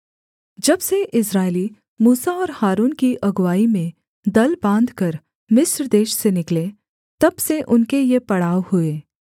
जब से इस्राएली मूसा और हारून की अगुआई में दल बाँधकर मिस्र देश से निकले तब से उनके ये पड़ाव हुए